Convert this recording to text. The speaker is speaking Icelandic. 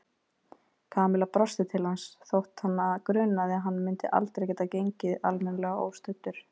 Kamilla brosti til hans þótt hana grunaði að hann myndi aldrei geta gengið almennilega óstuddur.